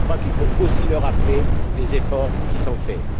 Je crois qu'il faut aussi rappeler les efforts qui sont faits.